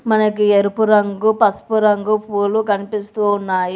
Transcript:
మనకి ఎరుపు రంగు పసుపు రంగు పూలు కనిపిస్తూ ఉన్నాయి.